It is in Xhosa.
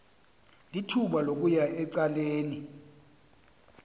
lithuba lokuya ecaleni